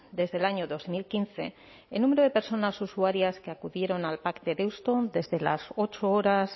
desde el año dos mil quince el número de personas usuarias que acudieron al pac de deusto desde las ocho horas